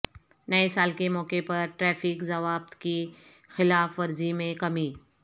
نئے سال کے موقع پر ٹریفک ضوابط کی خلاف ورزی میں کمی